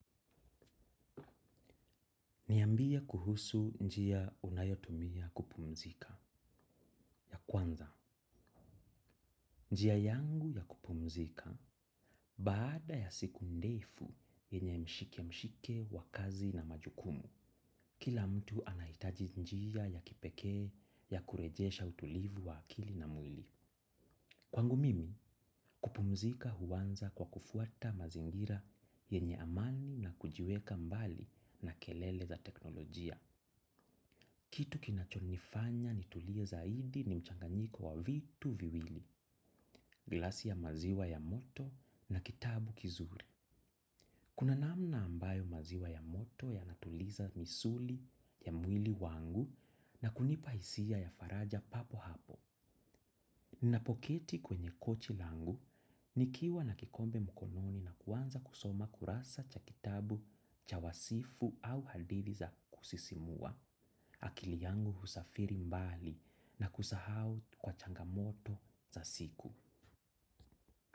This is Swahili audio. Niambie kuhusu njia unayotumia kupumzika ya kwanza. Njia yangu ya kupumzika baada ya siku ndefu yenye mshike mshike wa kazi na majukumu. Kila mtu anahitaji njia ya kipekee ya kurejesha utulivu wa akili na mwili. Kwangu mimi, kupumzika huanza kwa kufuata mazingira yenye amani na kujiweka mbali na kelele za teknolojia. Kitu kinachonifanya nitulie zaidi ni mchanganyiko wa vitu viwili, glasi ya maziwa ya moto na kitabu kizuri. Kuna namna ambayo maziwa ya moto yanatuliza misuli ya mwili wangu na kunipa hisia ya faraja papo hapo. Ninapoketi kwenye kochi langu, nikiwa na kikombe mkononi na kuanza kusoma kurasa cha kitabu, cha wasifu au hadithi za kusisimua. Akili yangu husafiri mbali na kusahau kwa changamoto za siku.